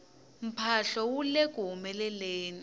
mphahlo wu leku humeleleni